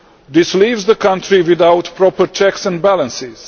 This leaves the country without proper checks and balances.